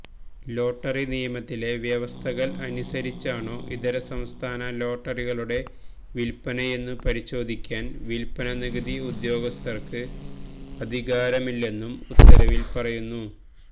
lottery നിയമത്തിലെ വ്യവസ്ഥകൾ അനുസരിച്ചാണോ ഇതര സംസ്ഥാന ലോട്ടറികളുടെ വിൽപനയെന്നു പരിശോധിക്കാൻ വിൽപന നികുതി ഉദ്യോഗസ്ഥർക്ക് അധികാരമില്ലെന്നും ഉത്തരവിൽ പറയുന്നു